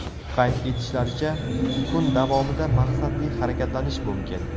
Qayd etishlaricha, kun davomida maqsadli harakatlanish mumkin.